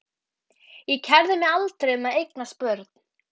Ég kærði mig aldrei um að eignast börn.